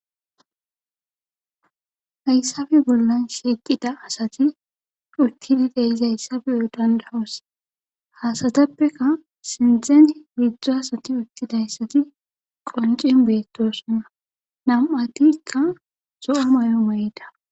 hayssape bollan shiiqida asati uttidi deiz hayssabe odandahous hasateppeka sindzen midzdzo asati uttidayssati qoncin beettosona na7atikka zo7a may7on ma7ida